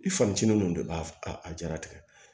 I fancinin ninnu de b'a a jaratigɛ